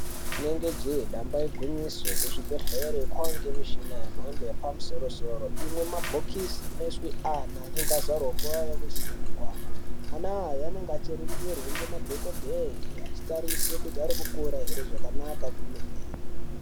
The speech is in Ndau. Zvinonga jee damba igwinyiso kuzvigwehlere kwane mishina yemhando yepamusoro soro imwe mabhokosi inoiswe ana anonga azvarwa nguva yavo isina kukwana ,ana aya anenge achiringirwe ngemadhongodheye achitarise kuti arikukura hre zvakanaka zvemhene.